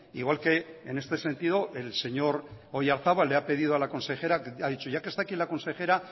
igual que en este sentido el señor oyarzabal le ha pedido a la consejera ha dicho ya que está aquí la consejera